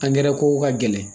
Angɛrɛ kow ka gɛlɛn